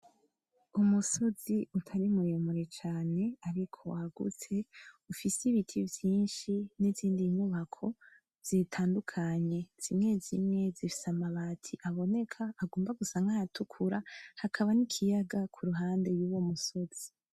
Umusozi utari muremure cane ariko wagutse , ufise ibiti vyinshi nizindi nyubako zitandukanye , zimwezimwe zifise amabati aboneka ko agomba gusa nkayatukura hakaba nikiyaga kuruhande yuwo musozi .